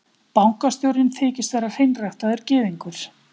Bankastjórinn þykist vera hreinræktaður gyðingur.